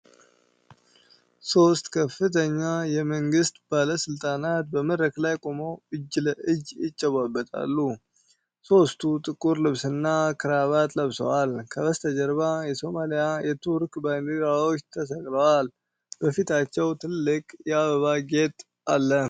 ሶስት ከፍተኛ የመንግሥት ባለሥልጣናት በመድረክ ላይ ቆመው እጅ ለእጅ ይጨባበጣሉ። ሦስቱም ጥቁር ልብስና ክራባት ለብሰዋል፤ ከበስተጀርባ የሶማሊያ እና የቱርክ ባንዲራዎች ተሰቅለዋል። በፊታቸው ትልቅ የአበባ ጌጥ አለ።